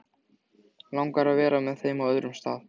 Langar að vera með þeim á öðrum stað.